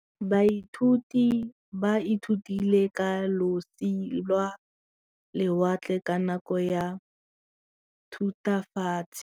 Baithuti ba ithutile ka losi lwa lewatle ka nako ya Thutafatshe.